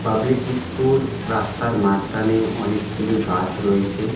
Public school রাস্তার মাঝখানে অনেকগুলি গাছ রয়েছে।